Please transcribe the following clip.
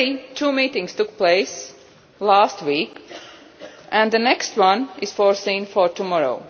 Two meetings took place last week and the next one is scheduled for tomorrow.